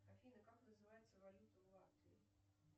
афина как называется валюта в латвии